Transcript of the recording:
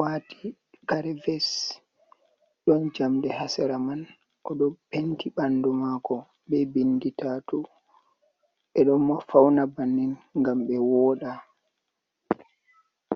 waati kare ves, ɗon jamɗe haa sera man. O ɗo penti ɓanndu maako be binndi taatu, ɓe ɗo fawna bannin, ngam ɓe wooɗa.